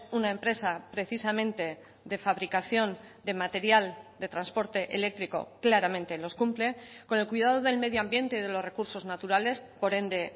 una empresa precisamente de fabricación de material de transporte eléctrico claramente los cumple con el cuidado del medio ambiente y de los recursos naturales por ende